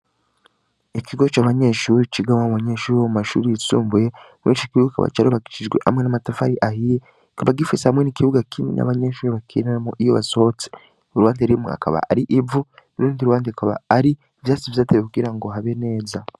Ikigo c'abanyeshuri cigaba mu banyeshuri wo mu mashuri yitsumbuye mwenci kibugi kaba caroragisijwe hamwe n'amatafari ahiye kaba gifese hamwen' ikibuga kimye n'abanyenshuri bakirendanamo iyo basohotse u rwande rimwe akaba ari ivu uruundi urwande kaba ari vyasi vyatewe ukugira ngo habe neza.